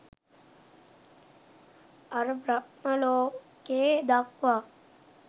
අර බ්‍රහ්ම ලෝකේ දක්වා